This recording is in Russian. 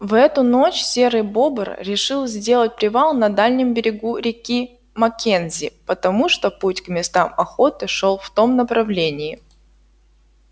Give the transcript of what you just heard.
в эту ночь серый бобр решил сделать привал на дальнем берегу реки маккензи потому что путь к местам охоты шёл в том направлении